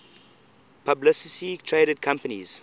publicly traded companies